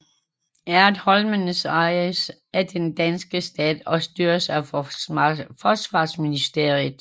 Ertholmene ejes af den danske stat og styres af Forsvarsministeriet